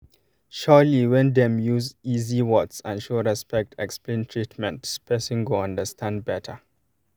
surely when dem use easy words and show respect explain treatment person go understand better